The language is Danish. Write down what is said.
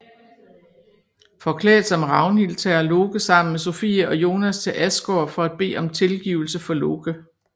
Forklædt som Ragnhild tager Loke sammen med Sofie og Jonas til Asgård for at bede om tilgivelse for Loke